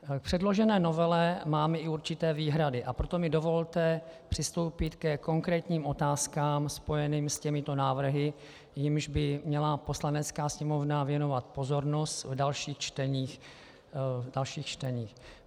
K předložené novele mám i určité výhrady, a proto mi dovolte přistoupit ke konkrétním otázkám spojeným s těmito návrhy, jimž by měla Poslanecká sněmovna věnovat pozornost v dalších čteních.